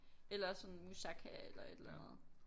Eller sådan moussaka eller et eller andet